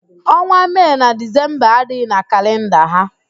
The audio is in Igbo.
Ọnwa Mee na Dizemba adịghị na kalịnda ha.